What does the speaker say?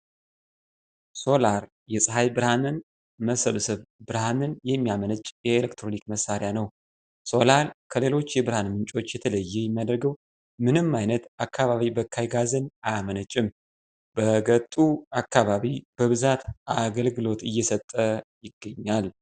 ሶላር የፅሀይ ብርሃንን መበሰብሰብ ብርሃንን የሚያመነጭልን የኤሌክትሮኒክ መሳሪያ ነው። ሶላር ከሌሎች የብርሃን ምንጮች የተለየ የሚያደርገው ምንም አይት አካባቢ በካይ ጋዝን አያመነጭም። በገጡ አካባቢ በብዛት አገልግሎት እየሰጠ ይገኛል።